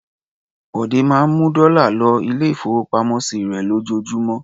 Bọ̀dé máa ń mú dọ́là lọ ilé-ìfowópamọ́sí rẹ̀ lójoojúmọ́.